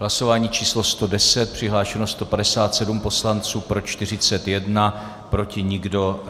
Hlasování číslo 110, přihlášeno 157 poslanců, pro 41, proti nikdo.